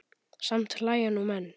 Samt hlæja nú menn.